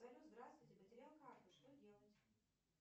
салют здравствуйте потерял карту что делать